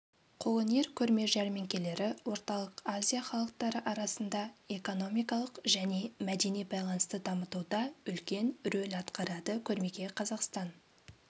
қолөнер көрме-жәрмеңкелері орталық азия халықтары арасында экономикалық және мәдени байланысты дамытуда үлкен рөл атқарады көрмеге қазақстан